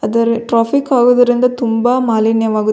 ಅದರಲ್ಲಿ ಅದು ಟ್ರಾಫಿಕ್ ಆಗಿರುವುದರಿಂದ ತುಂಬಾ ಮಾಲಿನ್ಯವಾಗು --